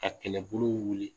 Ka kɛlɛbolo wuli